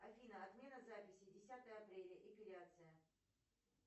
афина отмена записи десятое апреля эпиляция